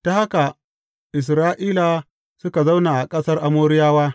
Ta haka Isra’ila suka zauna a ƙasar Amoriyawa.